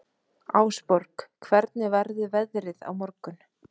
Ásborg, hvernig verður veðrið á morgun?